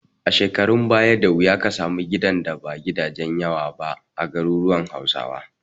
A shekarun baya, da wuya ka samu gidan da ba gidan yawa ba a garuruwan Hausawa.